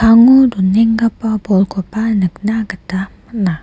donenggipa bolkoba nikna gita man·a.